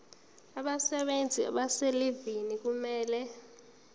abasebenzi abaselivini kufanele